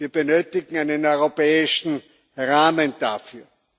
Wir benötigen einen europäischen Rahmen dafür.